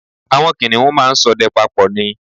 Àwọn kìnìun máa ń ṣọdẹ papọ̀ ni